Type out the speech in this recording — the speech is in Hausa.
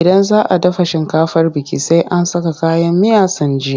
Idan za a dafa shinkafar biki, sai an saka kayan miya sun ji.